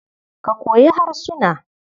Ka koyi harsuna.